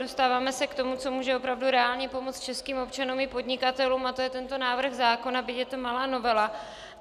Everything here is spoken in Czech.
Dostáváme se k tomu, co může opravdu reálně pomoci českým občanům i podnikatelům, a to je tento návrh zákona, byť je to malá novela.